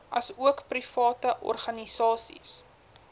asook private organisasies